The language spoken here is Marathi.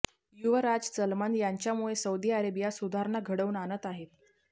युवराज सलमान यांच्यामुळे सौदी अरेबिया सुधारणा घडवून आणत आहे